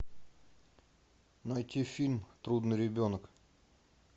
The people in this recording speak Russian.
найти фильм трудный ребенок